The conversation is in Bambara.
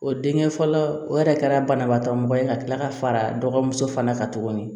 O denkɛ fɔlɔ o yɛrɛ kɛra banabaatɔ mɔgɔ ye ka tila ka fara dɔgɔmuso fana kan tuguni